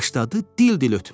başladı dil-dil ötməyə.